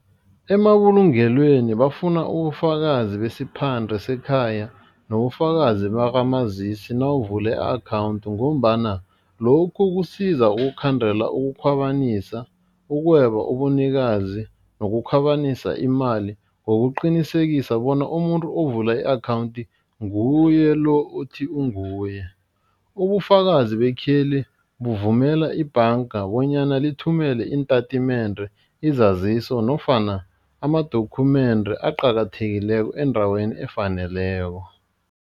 Emabulungelweni bafuna ubufakazi besiphande sekhaya nobufakazi bakamazisi nawuvula i-akhawundi ngombana lokhu kusiza ukukhandela ukukhwabanisa, ukweba ubunikazi, lokukhwabanisa imali ngokuqinisekisa bona umuntu ovula i-akhawundi nguye lo uthi unguye, ubufakazi bakheli bavumela ibhanga bonyana lithumele iintatimende, izaziso nofana ama-document aqakathekileko endaweni efaneleko.